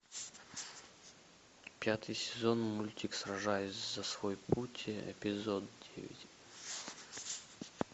пятый сезон мультик сражаясь за свой путь эпизод девять